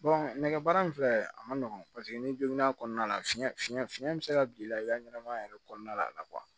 nɛgɛbaara in filɛ a ma nɔgɔn paseke ni donna a kɔnɔna la fiɲɛ fiɲɛ fiɲɛ bɛ se ka bila i la i ka ɲɛnɛmaya yɛrɛ kɔnɔna la a la